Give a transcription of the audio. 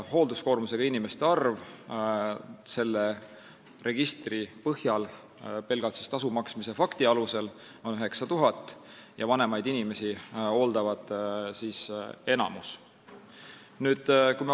Hoolduskoormusega inimesi selle registri põhjal, pelgalt tasu maksmise fakti alusel on 9000 ja enamik neist hooldavad vanemaid inimesi.